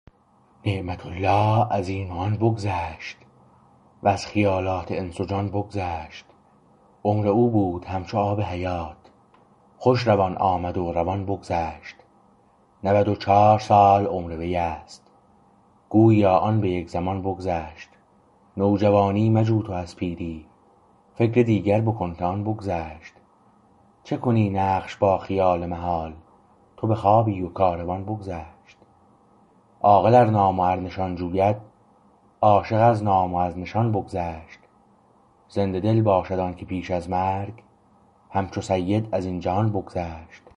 نعمت الله از این و آن بگذشت وز خیالات انس و جان بگذشت عمر او بود همچو آب حیات خوش روان آمد و روان بگذشت نود و چهار سال عمر وی است گوییا آن به یک زمان بگذشت نوجوانی مجو تو از پیری فکر دیگر بکن که آن بگذشت چه کنی نقش با خیال محال تو بخوابی و کاروان بگذشت عاقل ار نام و ار نشان جوید عاشق از نام و از نشان بگذشت زنده دل باشد آنکه پیش از مرگ همچو سید از این جهان بگذشت